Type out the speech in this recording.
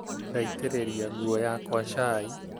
Ndaitĩrĩria nguo yakwa cai